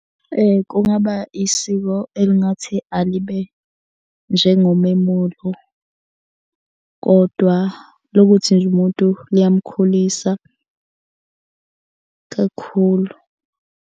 Kungaba isiko elingathi alibe njengomemulo, kodwa lokuthi nje umuntu liyamkhulisa kakhulu.